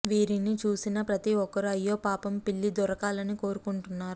వీరిని చూసిన ప్రతి ఒక్కరూ అయ్యో పాపం పిల్లి దొరకాలని కోరుకుంటున్నారు